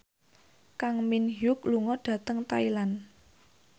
Kang Min Hyuk lunga dhateng Thailand